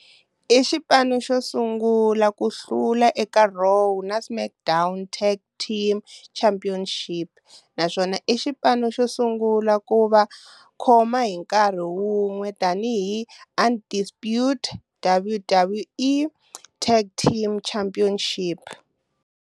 I xipano xo sungula ku hlula eka Raw na SmackDown Tag Team Championships naswona i xipano xo sungula ku va khoma hi nkarhi wun'we tanihi Undisputed WWE Tag Team Championship.